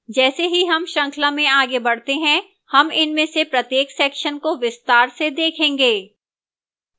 जैसे ही हम श्रृंखला में आगे बढ़ते हैं हम इनमें से प्रत्येक sections को विस्तार से देखेंगे